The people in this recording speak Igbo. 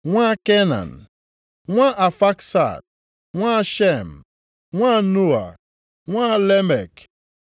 nwa Kenan, nwa Aafaksad, nwa Shem, nwa Noa, nwa Lamek;